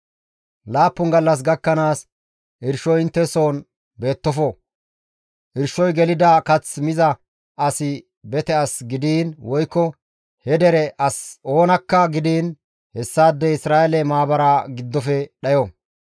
Laappun gallas gakkanaas irshoy intte soon beettofo; irshoy gelida kath miza asi bete asi gidiin woykko he dere as oonakka gidiin hessaadey Isra7eele maabara giddofe dhayo.